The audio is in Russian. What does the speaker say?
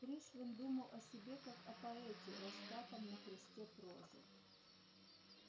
пришвин думал о себе как о поэте распятом на кресте прозы